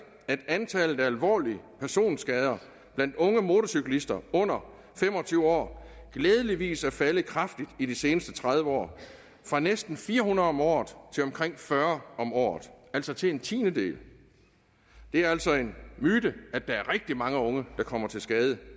at antallet af alvorlige personskader blandt unge motorcyklister under fem og tyve år glædeligvis er faldet kraftigt i seneste tredive år fra næsten fire hundrede om året til omkring fyrre om året altså til en tiendedel det er altså en myte at der er rigtig mange unge der kommer til skade